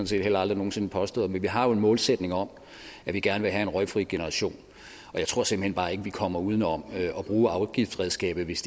set heller aldrig nogen sinde påstået men vi har jo en målsætning om at vi gerne vil have en røgfri generation og jeg tror simpelt hen bare ikke vi kommer uden om at bruge afgiftsredskabet hvis